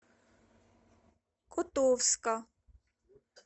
котовска